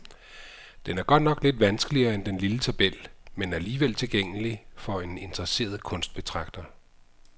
Den er godt nok lidt vanskeligere end den lille tabel, men alligevel tilgængelig for en interesseret kunstbetragter.